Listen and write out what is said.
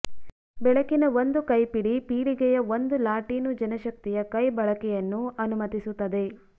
ಬೆಳಕಿನ ಒಂದು ಕೈಪಿಡಿ ಪೀಳಿಗೆಯ ಒಂದು ಲಾಟೀನು ಜನಶಕ್ತಿಯ ಕೈ ಬಳಕೆಯನ್ನು ಅನುಮತಿಸುತ್ತದೆ